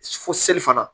Fo seli fana